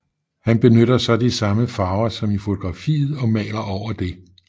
Han benytter så de samme farver som i fotografiet og maler over det